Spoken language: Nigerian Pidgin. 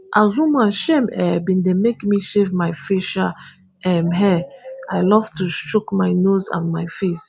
as woman shame um bin dey make me shave my facial um hair i love to chook my nose and my face